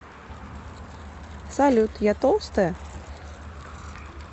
салют я толстая